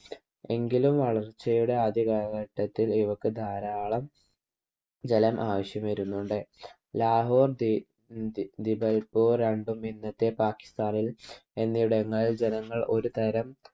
എങ്കിലും വളർച്ചയുടെ ആദ്യ കാലഘട്ടത്തിൽ ഇവയ്ക്ക് ധാരാളം ജലം ആവശ്യം വരുന്നുണ്ട്. ലാഹോർ ദിപൽപൂർ രണ്ടും ഇന്നത്തെ പാക്കിസ്ഥാനിൽ എന്നിടങ്ങൾ ജനങ്ങൾ ഒരുതരം